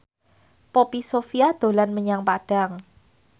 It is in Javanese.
Poppy Sovia dolan menyang Padang